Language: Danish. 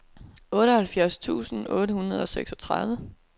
otteoghalvfjerds tusind otte hundrede og seksogtredive